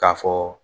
K'a fɔ